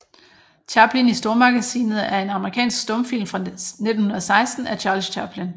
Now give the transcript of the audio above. Chaplin i Stormagasinet er en amerikansk stumfilm fra 1916 af Charles Chaplin